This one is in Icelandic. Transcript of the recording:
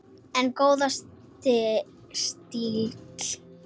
En góður stíll!